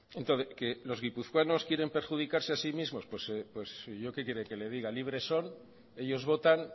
entonces que los guipuzcoanos quieren perjudicarse a sí mismo pues yo qué quiere que le diga libre son ellos votan